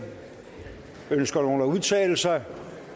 ønsker nogen at udtale sig